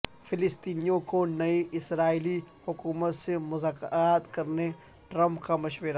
فلسطینیوں کو نئی اسرائیلی حکومت سے مذاکرات کرنے ٹرمپ کا مشورہ